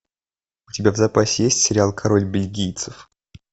у тебя в запасе есть сериал король бельгийцев